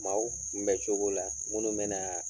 Maaw kunbɛcogo la minnu bɛ na